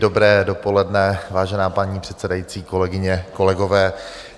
Dobré dopoledne, vážená paní předsedající, kolegyně, kolegové.